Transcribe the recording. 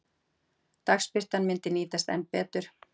Dagsbirtan myndi nýtast enn betur.